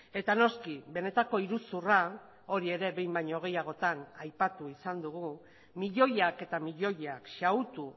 eta noski benetako iruzurra hori ere behin baino gehiagotan aipatu izan dugu milioiak eta milioiak xahutu